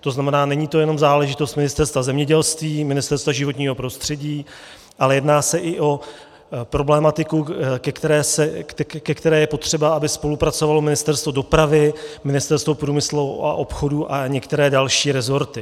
To znamená, není to jenom záležitost Ministerstva zemědělství, Ministerstva životního prostředí, ale jedná se i o problematiku, ke které je potřeba, aby spolupracovalo Ministerstvo dopravy, Ministerstvo průmyslu a obchodu a některé další resorty.